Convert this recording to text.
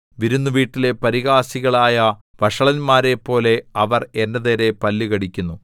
വിരുന്നു വീട്ടിലെ പരിഹാസികളായ വഷളന്മാരെപ്പോലെ അവർ എന്റെ നേരെ പല്ലു കടിക്കുന്നു